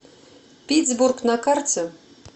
питьсбург на карте